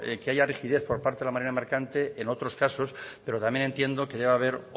que haya rigidez por parte de la marina mercante en otros casos pero también entiendo que deba haber